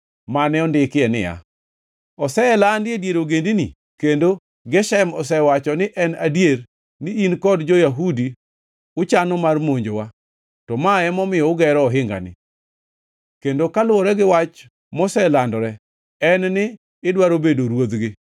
mane ondike niya: “Oselandi e dier ogendini, kendo Geshem osewacho ni en adier ni in kod jo-Yahudi uchano mar monjowa, to ma emomiyo ugero ohingani. Kendo kaluwore gi wach moselandore en ni idwaro bedo ruodhgi